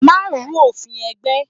Má ru òfin ẹgbẹ́!